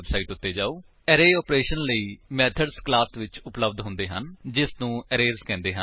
http spoken tutorial org array operations ਲਈ methods class ਵਿੱਚ ਉਪਲੱਬਧ ਹੁੰਦੇ ਹਨ ਜਿਸਨੂੰ ਅਰੇਜ਼ ਕਹਿੰਦੇ ਹਨ